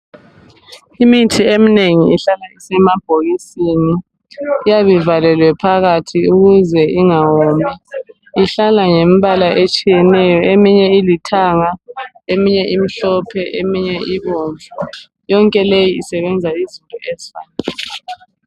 Imithi eminengi ihlala isemabhokisini. Iyabe ivalelwe phakathi ukuze ingawomi. Ihlala ngembala etshiyeneyo, eminye ilithanga eminye imhlophe eminye ibomvu. Yonke le isebenza izinto ezi.